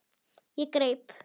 Ég greip